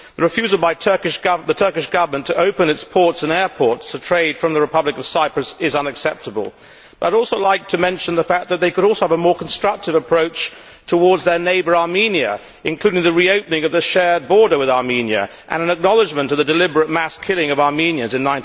The refusal by the Turkish Government to open its ports and airports to trade from the Republic of Cyprus is unacceptable, but I would also like to mention the fact that they could also have a more constructive approach towards their neighbour Armenia, including the reopening of the shared border with Armenia and an acknowledgement of the deliberate mass killing of Armenians in